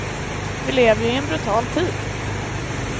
Vi lever ju i en brutal tid.